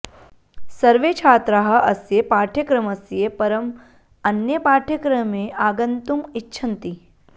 सर्वे छात्राः अस्य पाठ्यक्रमस्य परं अन्ये पाठ्यक्रमे आगन्तुम् इच्छन्ति